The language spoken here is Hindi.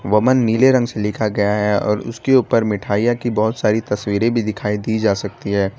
वामन नीले रंग से लिखा गया है और उसके ऊपर मिठाइयां की बहोत सारी तस्वीरें भी दिखाई दी जा सकती है।